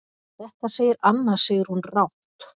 Þetta segir Anna Sigrún rangt.